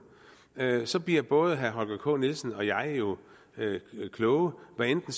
så bliver både herre holger k nielsen og jeg jo klogere hvad enten